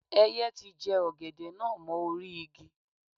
Ẹyẹ ti jẹ ọ̀gẹ̀dẹ̀ náà mọ́ orí-igi.